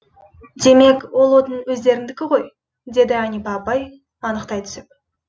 демек ол отын өздеріңдікі ғой деді әнипа апай анықтай түсіп